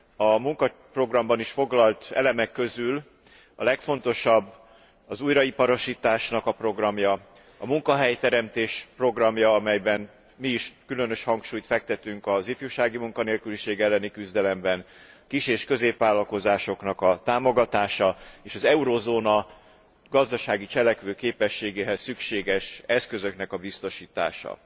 a munkaprogramban foglalt elemek közül a legfontosabb az újraiparosítás programja, a munkahelyteremtés programja, amelyen belül mi is különös hangsúlyt fektetünk az ifjúsági munkanélküliség elleni küzdelemre, a kis és középvállalkozások támogatására és az euróövezet gazdasági cselekvőképességéhez szükséges eszközöknek a biztosítására.